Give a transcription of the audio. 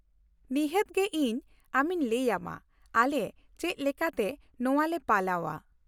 ᱱᱤᱦᱟᱹᱛ ᱜᱮ ᱤᱧ ᱟᱢᱤᱧ ᱞᱟᱹᱭ ᱟᱢᱟ ᱟᱞᱮ ᱪᱮᱫ ᱞᱮᱠᱟᱛᱮ ᱱᱚᱶᱟ ᱞᱮ ᱯᱟᱞᱟᱣᱼᱟ ᱾